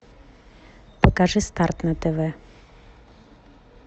покажи старт на тв